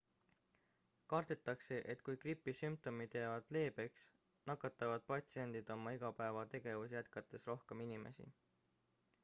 kardetakse et kui gripi sümptomid jäävad leebeks nakatavad patsiendid oma igapäevategevusi jätkates rohkem inimesi